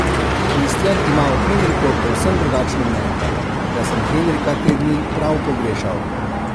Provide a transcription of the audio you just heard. Kristjan ima o Henriku povsem drugačno mnenje:"Jaz sem Henrika te dni prav pogrešal.